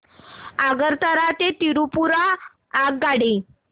आगरतळा ते त्रिपुरा आगगाडी